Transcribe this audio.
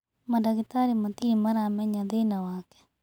Mandagitarĩ matirĩ maramenya thĩna wake.